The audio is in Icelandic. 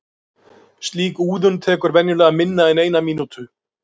Slík úðun tekur venjulega minna en eina mínútu.